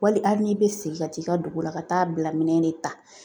Wali hali n'i bɛ segin ka t'i ka dugu la ka taa bila minɛn de ta .